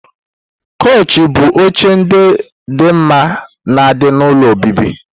Koushi bụ oche ndị dị mma na di n'ụlọ obibi.